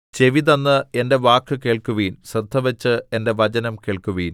ചെവിതന്ന് എന്റെ വാക്കു കേൾക്കുവിൻ ശ്രദ്ധവച്ച് എന്റെ വചനം കേൾക്കുവിൻ